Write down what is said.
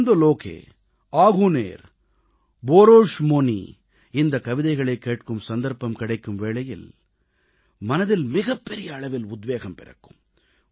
ஆனந்தலோகே ஆகுனேர் போரோஷ்மோனீ இந்தக் கவிதைகளைக் கேட்கும் சந்தர்ப்பம் கிடைக்கும் வேளையில் மனதில் மிகப்பெரிய அளவில் உத்வேகம் பிறக்கும்